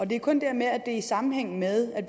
det er kun det her med at det i sammenhæng med